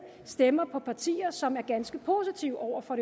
stemmer på partier som er ganske positive over for